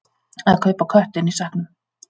Að kaupa köttinn í sekknum